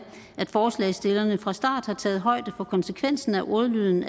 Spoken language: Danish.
at forslagsstillerne fra starten har taget højde for konsekvensen af ordlyden